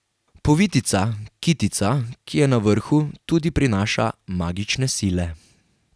Povitica, kitica, ki je na vrhu, tudi prinaša magične sile.